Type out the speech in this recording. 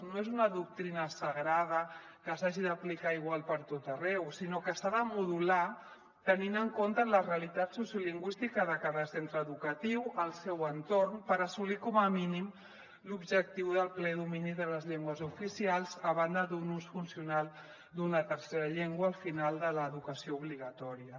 no és una doctrina sagrada que s’hagi d’aplicar igual pertot arreu sinó que s’ha de modular tenint en compte la realitat sociolingüística de cada centre educatiu el seu entorn per assolir com a mínim l’objectiu del ple domini de les llengües oficials a banda d’un ús funcional d’una tercera llengua al final de l’educació obligatòria